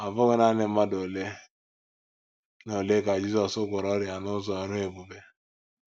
Ọ bụghị nanị mmadụ ole na ole ka Jizọs gwọrọ ọrịa n’ụzọ ọrụ ebube.